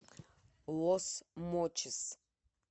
лос мочис